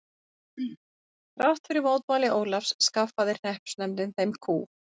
Þrátt fyrir mótmæli Ólafs skaffaði hreppsnefndin þeim kú.